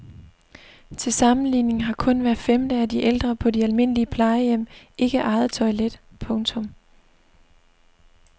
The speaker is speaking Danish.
Til sammenligning har kun hver femte af de ældre på de almindelige plejehjem ikke eget toilet. punktum